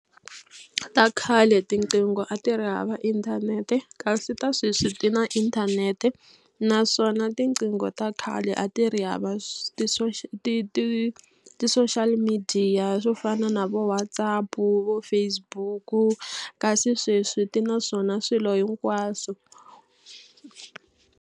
Ta khale tiqingho a ti ri hava inthanete kasi ta sweswi ti na inthanete naswona tiqingho ta khale a ti ri hava ti ti ti-social media swo fana na vo WhatsApp vo Facebook kasi sweswi ti na swona swilo hinkwaswo.